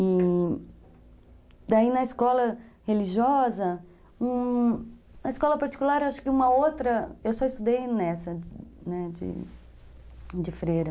E daí na escola religiosa, na escola particular, acho que uma outra, eu só estudei nessa, né, de de freira.